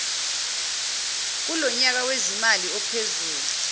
kulonyaka wezimali ophezulu